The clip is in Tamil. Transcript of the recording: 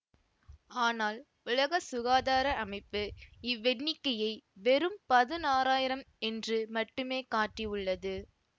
ஆனால் உலக சுகாதார அமைப்பு இவ்வெண்ணிக்கையை வெறும் பதினாறாயிரம் என்று மட்டுமே காட்டியுள்ளது